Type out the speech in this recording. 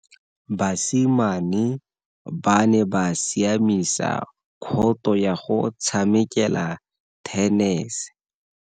Basimane ba ne ba siamisa khoto ya go tshamekela thenese.